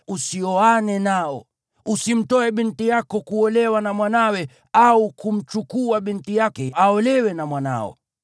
Usioane nao. Usimtoe binti yako kuolewa na mwanawe, au kumchukua binti yake aolewe na mwanao.